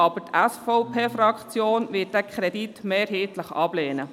Dennoch wird die SVP-Fraktion diesen Kredit mehrheitlich ablehnen.